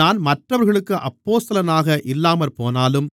நான் மற்றவர்களுக்கு அப்போஸ்தலனாக இல்லாமற்போனாலும்